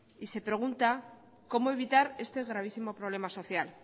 y se pregunta cómo evitar este gravísimo problema social